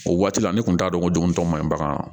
O waati la ne kun t'a dɔn ko jugun tɔ man ɲi bagan na